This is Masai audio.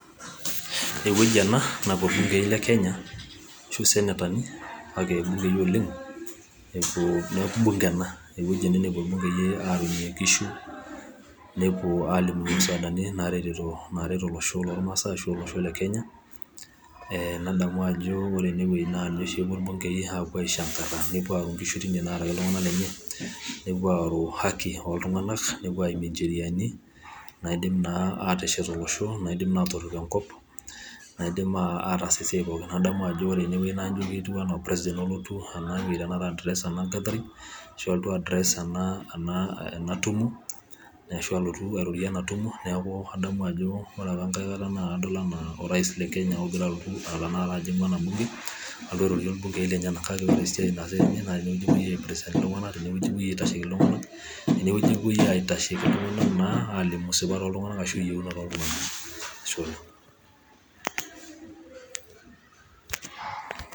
ewueji ena napuo ilbingei le kenya, ashuu isenetani kake ilbungei oleng, epuoo neeku bunge ena ewueji ena napuo ilbungei aarunye nkishu, nepuo alimunye musaadani naretito naaret olosho lolmaasae ashu olosho le kenya ,ee nadamu ajo ore enewueji naa ninye oshi epuo ilbungei apuo aishangara, nepuo aaru nkishu tine naaraki iltung'anak lenye, nepuo aaru haki oltung'anak nepuo aimie ncheriani naidim naa ateshet olosho, naidim naa atorip enkop, naidim aa ataas esiai pooki. adamu ajo ore enewueji naa ijo ketiu enaa president olotu enewueji tenakata ai adress ena gathering, ashu alotu ai adress ena enaa ena tumo, ashu alotu airorie ena tumo, neeku adamu ajo ore apa enkae kata naa adol enaa orais le kenya ogira alotu tenakata ajing'u ena bunge alotu arorie ilbungei lenyenak. kake ore esiai naasitae tena naa tenewueji epuoi ai represent iltung'anak, tenewueji aitasheiki iltung'anak, tenewueji aitasheiki iltung'anak naa alimu sipat oltung'anak, ashu iyiunot oltung'anak ashe oleng.